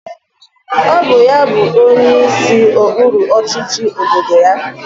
Ọ bụ ya bụ onyeisi okpuru ọchịchị obodo ya.